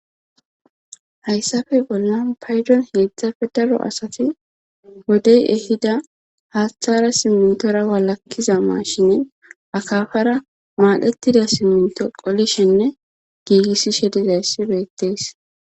hayssafe bollan paydon heedzdzafe daro asati wodey ehida haaththara simintora walakkiza maashinen akafara maadhettida siminto qolishinne giigissishe dizayssi beettees.